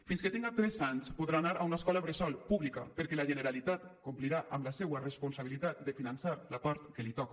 fins que tingui tres anys podrà anar a una escola bressol pública perquè la generalitat complirà amb la seua responsabilitat de finançar la part que li toca